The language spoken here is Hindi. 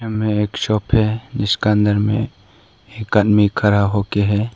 में एक शॉप है जिसका अंदर में एक आदमी खड़ा हो के है।